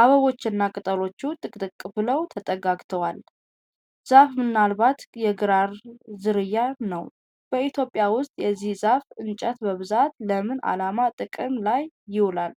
አበቦቹና ቅጠሎቹ ጥቅጥቅ ብለው ተጠጋግተዋል። ዛፉ ምናልባት የግራር ዝርያ ነው። በኢትዮጵያ ውስጥ የዚህ ዛፍ እንጨት በብዛት ለምን ዓላማ ጥቅም ላይ ይውላል?